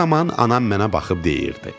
Bu zaman anam mənə baxıb deyirdi: